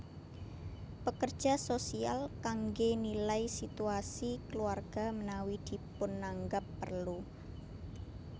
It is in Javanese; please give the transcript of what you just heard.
Pekerja sosial kangge nilai situasi keluarga menawi dipunanggap perlu